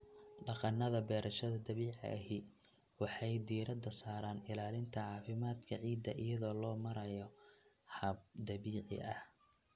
Dhaqannada beerashada dabiiciga ahi waxay diiradda saaraan ilaalinta caafimaadka ciidda iyadoo loo marayo hab dabiici ah.